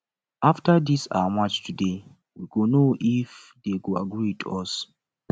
after dis our march today we go know if dey go agree with us